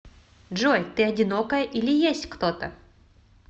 джой ты одинокая или есть кто то